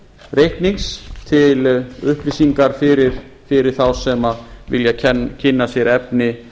reiknings til upplýsingar fyrir þá sem vilja kynna sér efni